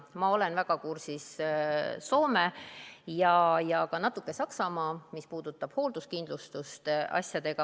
Ma olen väga kursis Soome ja ka natuke Saksamaa asjadega, mis puudutab hoolduskindlustust.